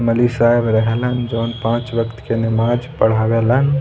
मौलबी साहब रहेलन जोन पांच वक़्त के नमाज़ पढ़ावे लन।